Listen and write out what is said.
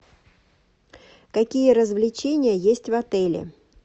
какие развлечения есть в отеле